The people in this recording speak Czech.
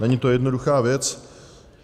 Není to jednoduchá věc.